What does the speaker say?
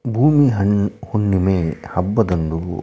ಬಹುಶಃ ಇದು ಭೂಮಿ ಹಣ್ಣ್ ಹುಣ್ಣಿಮೆ ಹಬ್ಬದಂದು--